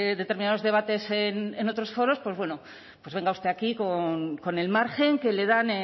determinados debates en otros foros bueno venga usted aquí con el margen que le dan